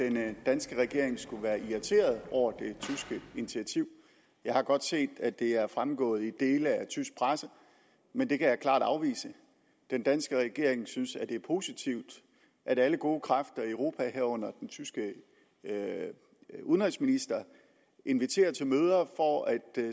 at den danske regering skulle være irriteret over det tyske initiativ jeg har godt set at det er fremgået i dele af tysk presse men det kan jeg klart afvise den danske regering synes at det er positivt at alle gode kræfter i europa herunder den tyske udenrigsminister inviterer til møder for at